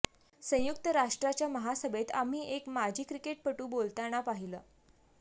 संयुक्त राष्ट्राच्या महासभेत आम्ही एक माजी क्रिकेटपटू बोलताना पाहिला